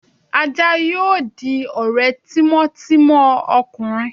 aja yóò dí ore tímò timò ọkunrín